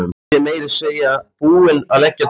Væri meira að segja búin að leggja drög að því.